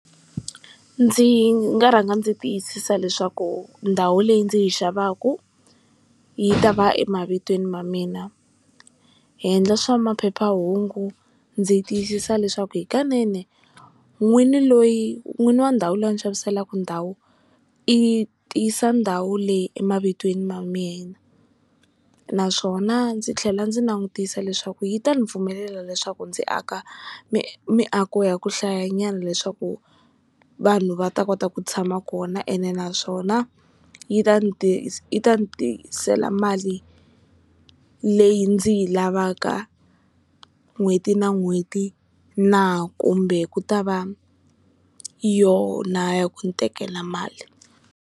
Ndzi nga rhanga ndzi tiyisisa leswaku ndhawu leyi ndzi yi xavaka yi ta va emavitweni ma mina hi yendla swa maphephahungu ndzi yi tiyisisa leswaku hikanene n'wini loyi n'wini wa ndhawu leyi a ni xaviselaka ndhawu i tisa ndhawu leyi emavitweni ma mina naswona ndzi tlhela ndzi langutisa leswaku yi ta ni pfumelela leswaku ndzi aka mi miako ya ku hlayanyana leswaku vanhu va ta kota ku tshama kona ene naswona yi ta ni yi ta ni tisela mali leyi ndzi yi lavaka n'hweti na n'hweti na kumbe ku ta va yona ya ku ni tekela mali.